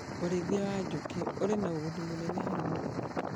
Ũrĩithia wa njũkĩ wĩna ũgũnĩ mũnene harĩ mũrĩmi